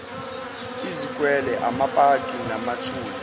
izikwele amapaki namathuna